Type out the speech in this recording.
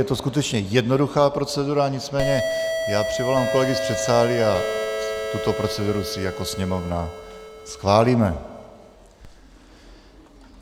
Je to skutečně jednoduchá procedura, nicméně já přivolám kolegy z předsálí a tuto proceduru si jako Sněmovna schválíme.